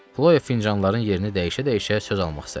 Xloya fincanların yerini dəyişə-dəyişə söz almaq istədi.